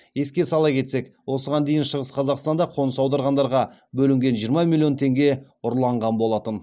еске сала кетсек осыған дейін шығыс қазақстанда қоныс аударғандарға бөлінген жиырма миллион теңге ұрланған болатын